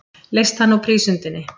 Leyst hann úr prísundinni.